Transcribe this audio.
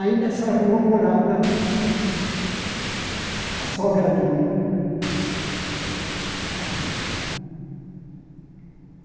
Aí, nessa rua, morava a sogra dele.